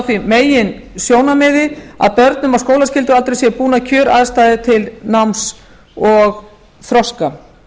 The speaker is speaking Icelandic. á því meginsjónarmiði að börnum á skólaskyldualdri ber búnar kjöraðstæður til náms og þroska